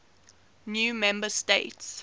new member states